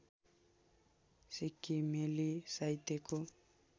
सिक्किमेली साहित्यको